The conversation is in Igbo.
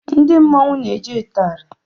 Ndị mmọnwu n'eji itari.